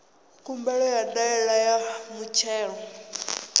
khumbelo ya ndaela ya muthelo